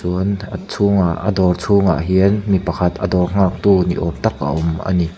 chuan a chhungah a dawr chhungah hian a dawr nghaktu ni awm tak a awm ani.